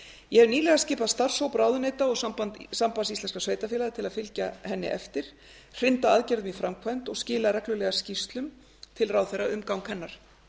ég hef nýlega skipað starfshóp ráðuneyta og sambands íslenskra sveitarfélaga til að fylgja henni eftir hrinda aðgerðum i framkvæmd og skila reglulega skýrslum til ráðherra um gang hennar